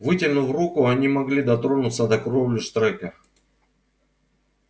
вытянув руку они могли дотронуться до кровли штрека